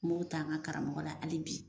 N y'o ta an ka karamɔgɔ la ali bi